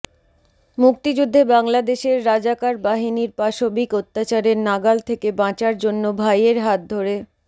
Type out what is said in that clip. মুক্তিযুদ্ধে বাংলাদেশের রাজাকার বাহিনীর পাশবিক অত্যাচারের নাগাল থেকে বাঁচার জন্য ভাইয়ের হাত ধরে